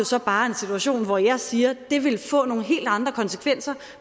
så bare en situation hvor jeg siger at det vil få nogle helt andre konsekvenser